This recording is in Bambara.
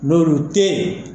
Bar'o te yen